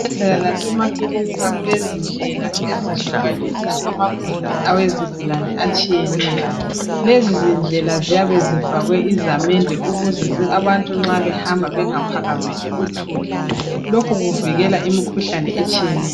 Ezibhedlela lasemakilinika kulezindlela ezihlukanisa amagumbi awezigulane atshiyeneyo .Lezizindlela ziyabe zifakwe izamende ukuze abantu nxa behambisa bengaphakamisi uthuli Lokhu kuvikela imikhuhlane etshiyeneyo